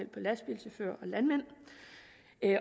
lastbilchauffører